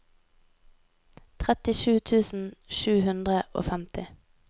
trettisju tusen sju hundre og femti